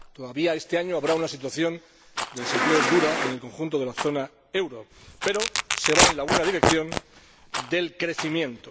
Todavía este año habrá una situación de desempleo dura en el conjunto de la zona euro, pero se va en la buena dirección del crecimiento.